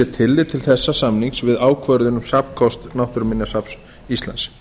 tillit til þessa samnings við ákvörðun um safnkost náttúruminjasafns íslands